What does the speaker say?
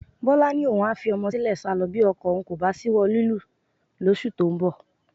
Bọ́lá ni òun a fi ọmọ sílẹ̀ sálọ bí ọkọ òun kò bá ṣíwọ́ lílù ú lóṣù tó ń bọ̀